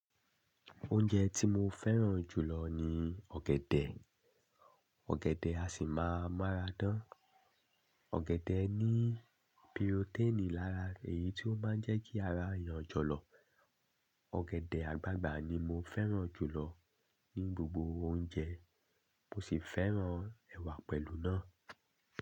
Oúnjẹ tí mo fẹ́ràn jù lọ ni ọ̀gẹ̀dẹ̀. Ọ̀gẹ̀dẹ̀ a sì máa máradán. Ọ̀gẹ̀dẹ̀ ní pirotẹ́ẹ̀nì lára èyí tí ó máa ń jẹ́ kí ara eeyàn jọlọ. Ọ̀gẹ̀dẹ̀ àgbagbà ni mo fẹ́ràn jù lọ ní gbogbo oúnjẹ, mo sì fẹ́ràn ẹ̀wà pẹ̀lú náà.